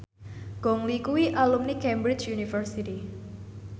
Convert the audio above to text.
Gong Li kuwi alumni Cambridge University